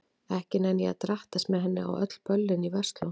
Ekki nenni ég að drattast með henni á öll böllin í Versló.